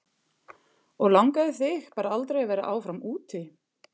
Og langaði þig bara aldrei að vera áfram úti?